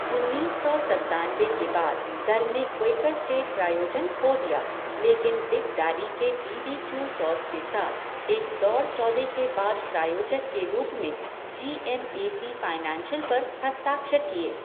उन्नीस सौ सत्तानबे के बाद दल ने क्वेकर स्टेट प्रायोजन खो दिया लेकिन बिग डैडी के बी बी क्यू सॉस के साथ एक दौड़ सौदे के बाद प्रायोजक के रूप में G M A C Financial पर हस्ताक्षर किए।